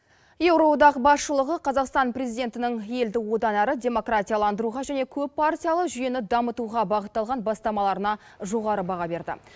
еуроодақ басшылығы қазақстан президентінің елді одан әрі демократияландыруға және көппартиялы жүйені дамытуға бағытталған бастамаларына жоғары баға берді